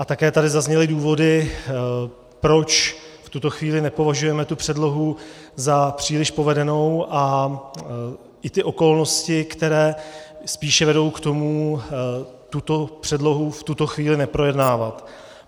A také tady zazněly důvody, proč v tuto chvíli nepovažujeme tu předlohu za příliš povedenou, a i ty okolnosti, které spíše vedou k tomu tuto předlohu v tuto chvíli neprojednávat.